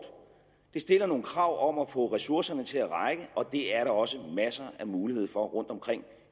det stiller nogle krav om at få ressourcerne til at række og det er der også masser af muligheder for rundtomkring